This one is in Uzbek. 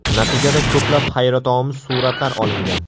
Natijada ko‘plab hayratomuz suratlar olingan.